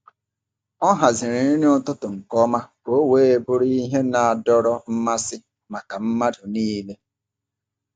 Ọ haziri nri ụtụtụ nke ọma ka ọ wee bụrụ ihe na-adọrọ mmasị maka mmadụ niile.